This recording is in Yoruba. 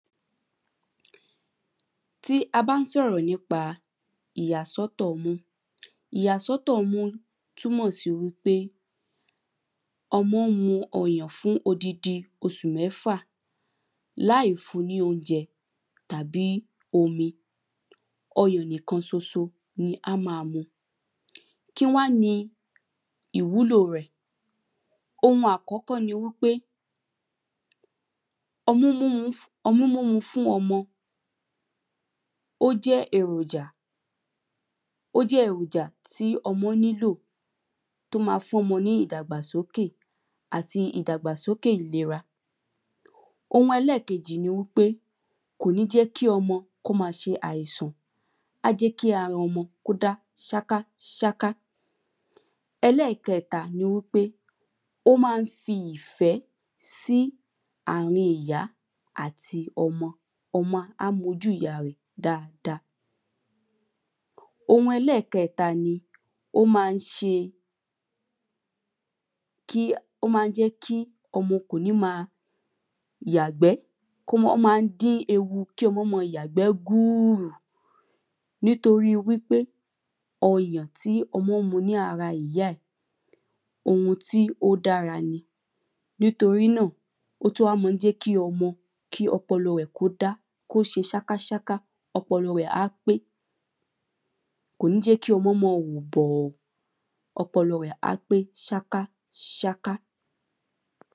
Tí a bá n sọ̀rọ̀ nípa ìyàsọ́tọ̀ ọmú. Ìyàsọ́tọ̀ ọmú túmọ̀ sí wípé ọmọ́ mu ọyàn fún oddidi osù mẹ́fà. Láì fun ní oújẹ tàbí omi. Ọyàn nìkan soso ni á má a mu. Kín wá ni ìwúlò rẹ̀? Ohun àkọ́kọ́ ni wípé ọmú mímú fún ọmọ ó jẹ́ èròjà ó jẹ́ èròjà tí ọmọ́ nílò Tó ma fún ọmọ ní ìdàgbàsókè àti ìdàgagbàsókè ìlera. Ohun ẹlẹ́ẹ̀kejì ni wípé kò ní jẹ́ kí ọmọ kó má a se àìsàn. Á jẹ́ í ara ọmọ kó dá sáká sáká. Ẹlẹ́ẹ̀kẹta ni wípé ó má ń fi ìfẹ́ sí àrin ìyá àti ọmọ. O̩mọ á mójú ìyá rẹ̀ dada. Ohun ẹlẹ́ẹ̀kẹta ni ó má ń ṣe kí ó ma jẹ́ kí ọmọ kò ní ma yàgbẹ́ Ó má ń dí ewu kí ọmọ́ máa yàgbẹ́ gbùrù. Nítorí wípé ọyàn tí ọmọ́ ń mu ní ara ìyá ẹ̀, ohun tí ó dára ni. Nítorí náà ó tún wá ń jẹ́ kí ọmọ kí ọpọlọ rẹ̀ kí ó dá kó ṣe sáká sáká. Ọpọlọ rẹ̀ á pé. Kò ní jẹ́ kí ọmọ́ má a wò bọ̀ọ̀. Ọpọlọ rẹ̀ á pé sáká sáka.